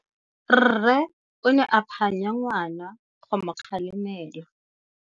Rre o ne a phanya ngwana go mo galemela.